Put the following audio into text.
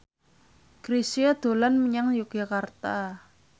Chrisye dolan menyang Yogyakarta